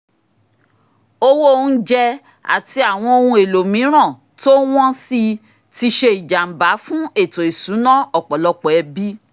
owó oúnjẹ àti àwọn ohun èlò mìíràn tó wọ́n sí i tí ṣe ìjàmbá fún ètò ìṣúná ọ̀pọ̀lọpọ̀ ẹbí